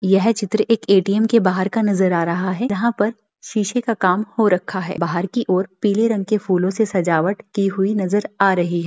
यह चित्र एक ए.टी.एम. के बाहर का नजर आ रहा है यहां पर शीशे का काम हो रखा है बाहर की ओर पीले रंग के फूलों से सजावट की हुई नजर आ रही है।